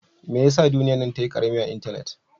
Mai ya sa duniyya'n ta yi karemi a'intenet?